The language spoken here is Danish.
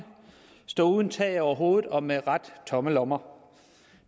stå uden tag over hovedet og med ret tomme lommer